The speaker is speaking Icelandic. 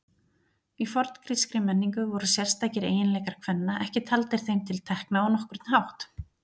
Í forngrískri menningu voru sérstakir eiginleikar kvenna ekki taldir þeim til tekna á nokkurn hátt.